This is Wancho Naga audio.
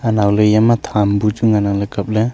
anowle eya ma tham bu chu ngan ang kapley.